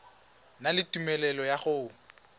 na le tumelelo ya go